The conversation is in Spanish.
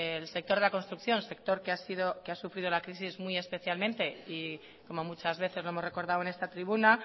el sector de la construcción sector que ha sufrido la crisis muy especialmente y como muchas veces lo hemos recordado en esta tribuna